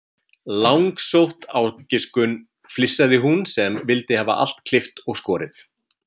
Langsótt ágiskun, flissaði hún sem vildi hafa allt klippt og skorið.